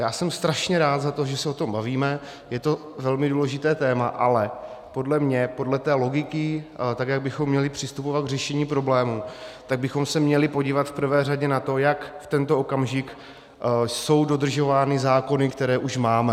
Já jsem strašně rád za to, že se o tom bavíme, je to velmi důležité téma, ale podle mě, podle té logiky, tak jak bychom měli přistupovat k řešení problému, tak bychom se měli podívat v prvé řadě na to, jak v tento okamžik jsou dodržovány zákony, které už máme.